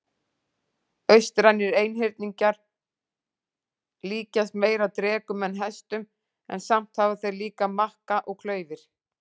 Austrænir einhyrningar líkjast meira drekum en hestum en samt hafa þeir líka makka og klaufir.